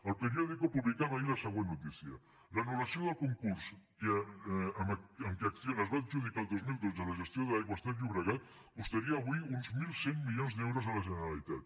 el periodico publicava ahir la següent notícia l’anullació del concurs amb què acciona es va adjudicar el dos mil dotze la gestió d’aigües ter llobregat costaria avui uns mil cent milions d’euros a la generalitat